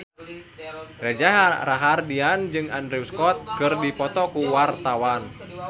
Reza Rahardian jeung Andrew Scott keur dipoto ku wartawan